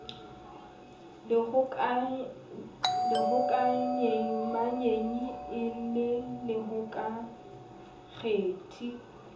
lehokaleamanyi e e le lehokalekgethi